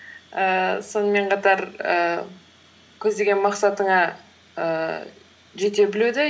ііі сонымен қатар ііі көздеген мақсатыңа ііі жете білуді